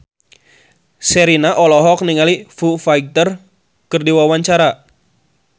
Sherina olohok ningali Foo Fighter keur diwawancara